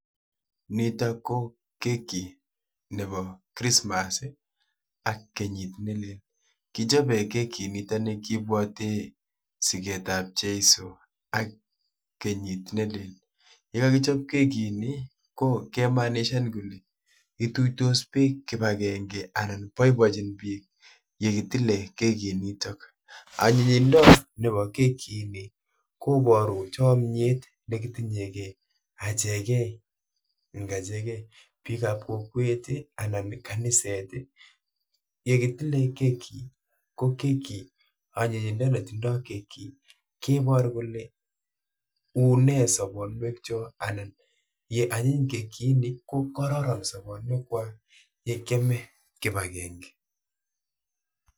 Niitok ko keki nebo [cs[ christmas ak kenyiit nelel. Kichobe keki niitoni kibwati sigeet ap cheiso ak kenyiit nelel. Ye kakichob kekiitni ko kemaanishan kole ituitos biik kibagenge anan boiboichini biik yekitile kekiit niitok. anyinyindo nebo kekiitni koboru chamnyiet nekitinyegei achegei ing'achegei biik ap kokwet anan kaniset. yekitile keki ko keki anyinyindet netindoi keki kebooru kole uune sobonwek chook anan ye anyiny kekiitni kokararan sobonwek kwak ye kiame kibagenge